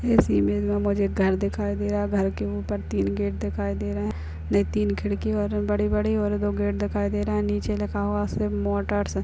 इस इमेज में मुझे एक घर दिखाई दे रहा है। घर के ऊपर तीन गेट दिखायीं दे रहे हैं नहीं तीन खिड़की और बड़ी-बड़ी और दिखाई दे रहे हैं निचे लिखा हुआ है उस पे मोटर्स --